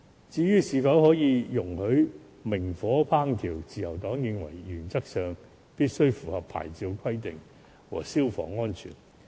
至於是否在墟市容許明火烹調，自由黨認為，原則上攤檔必須符合牌照規定和消防安全。